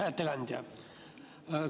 Hea ettekandja!